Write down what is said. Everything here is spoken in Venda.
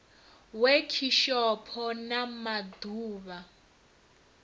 wekhishopho na ma ḓ uvha